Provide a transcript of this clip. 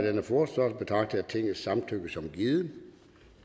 af jeg tingets samtykke som givet